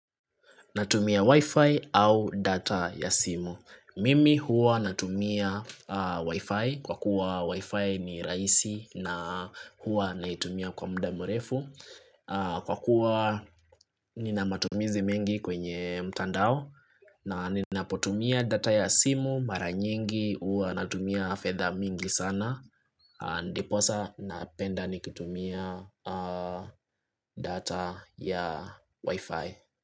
Natumia wi-fi au data ya simu. Mimi huwa natumia wi-fi kwa kuwa wi-fi ni rahisi na huwa naitumia kwa muda mrefu. Kwa kuwa nina matumizi mengi kwenye mtandao na ninapotumia data ya simu mara nyingi huwa natumia fedha mingi sana. Ndiposa napenda nikitumia data ya wi-fi.